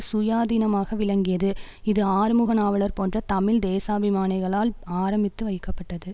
சுயாதீனமாக விளங்கியது இது ஆறுமுக நாவலர் போன்ற தமிழ் தேசாபிமானிகளால் ஆரம்பித்து வைக்கப்பட்டது